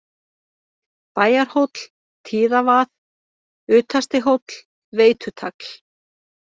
Bæjarhóll, Tíðavað, Utastihóll, Veitutagl